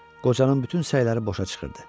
Qocanın bütün səyləri boşa çıxırdı.